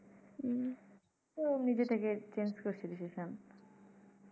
তো নিজে থেকে change করছি decision